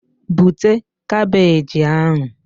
Bute kabeeji ahụ!